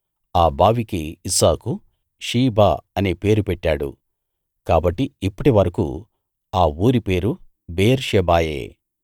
ఆ బావికి Isaac Sheba అనే పేరు పెట్టాడు కాబట్టి ఇప్పటి వరకూ ఆ ఊరి పేరు బెయేర్షెబాయే